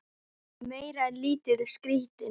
Hún er meira en lítið skrítin.